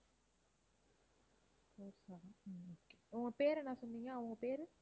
four seven உம் okay. அவங்க பெயர் என்ன சொன்னீங்க? அவங்க பேரு?